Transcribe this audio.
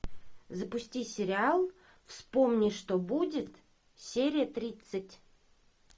запусти сериал вспомни что будет серия тридцать